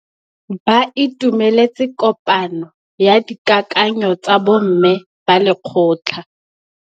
Ba itumeletse kôpanyo ya dikakanyô tsa bo mme ba lekgotla.